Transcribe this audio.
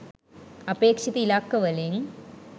අපේක්‍ෂිත ඉලක්කවලින්